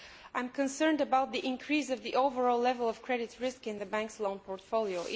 I am concerned about the increase of the overall level of credit risk in the Bank's loan portfolio.